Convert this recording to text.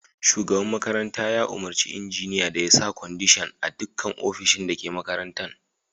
Shugaban makaranta ya umarci injiniya da ya sa kwandishan a dukkan ofishin da ke makarantan.